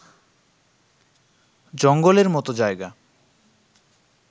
জঙ্গলের মতো জায়গা